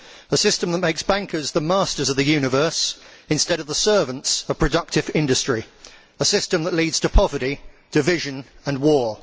a system that makes bankers the masters of the universe, instead of the servants of productive industry. A system that leads to poverty, division and war.